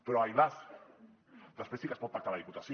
però ai las després sí que es pot pactar a la diputació